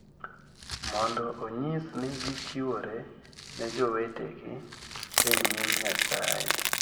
mondo onyis ni gichiwore ne jowetegi e nyim Nyasaye.